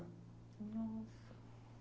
Nossa.